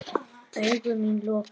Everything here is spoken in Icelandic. Augu mín lokuð.